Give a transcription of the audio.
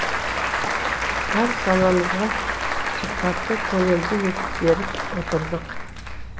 әр санамызға сұхбатты көлемді етіп беріп отырдық